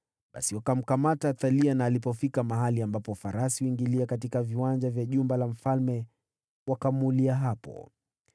Basi wakamkamata Athalia, na alipofika mahali ambapo farasi huingilia katika viwanja vya jumba la mfalme, wakamuulia hapo.